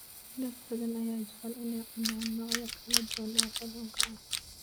Dad badan ayaa jecel inay cunaan noocyo kala duwan oo kalluunka ah.